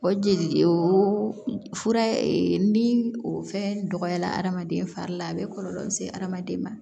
O jeli o fura ni o fɛn dɔgɔyara adamaden fari la a bɛ kɔlɔlɔ se hadamaden ma